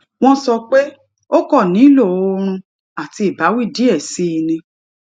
wón sọ pé ó kàn nílò oorun àti ìbáwí díè sí i ni